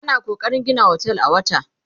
ana kokarin Gina otel a wata